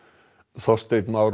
Þorsteinn Már